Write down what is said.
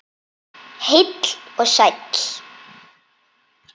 Heill og sæll!